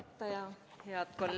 Palun!